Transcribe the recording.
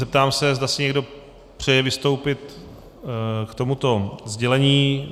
Zeptám se, zda si někdo přeje vystoupit k tomuto sdělení.